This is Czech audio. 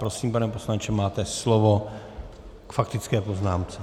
Prosím, pane poslanče, máte slovo k faktické poznámce.